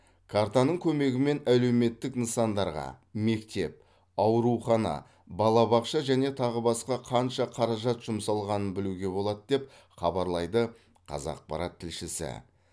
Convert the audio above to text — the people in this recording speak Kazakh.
картаның көмегімен әлеуметтік нысандарға мектеп аурухана балабақша және тағы басқа қанша қаражат жұмсалғанын білуге болады деп хабарлайды қазақпарат тілшісі